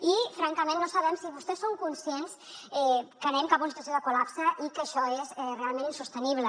i francament no sabem si vostès són conscients que anem cap a una situació de col·lapse i que això és realment insostenible